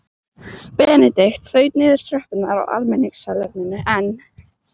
Benedikt þaut niður tröppurnar á almenningssalerninu en